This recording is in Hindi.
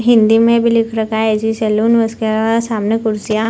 हिंदी में भी लिख रहा है ए.सी. सैलून उसके बाद सामने कुर्सियां --